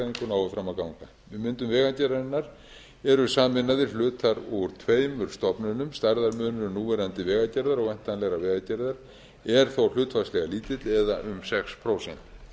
um hagræðingu nái fram að ganga við myndun vegagerðarinnar eru sameinaðir hlutar úr tveimur stofnunum stærðarmunur núverandi vegagerðar og væntanlegrar vegagerðar er þó hlutfallslega lítill eða um sex prósent